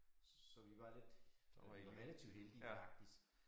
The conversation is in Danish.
Så vi var lidt vi var relativt heldige faktisk